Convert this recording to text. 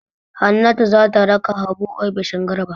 Hannatu za ta raka Habu ofishin Garba.